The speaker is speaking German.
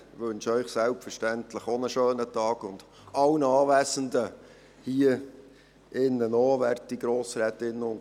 Ich wünsche Ihnen selbstverständlich auch einen schönen Tag und allen Anwesenden hier auch.